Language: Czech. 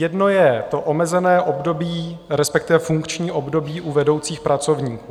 Jedno je to omezené období, respektive funkční období u vedoucích pracovníků.